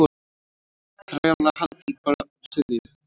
Þrælahald í Brasilíu.